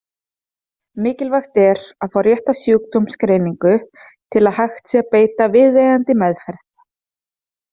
Mikilvægt er að fá rétta sjúkdómsgreiningu til að hægt sé að beita viðeigandi meðferð.